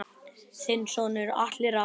Þinn sonur Atli Rafn.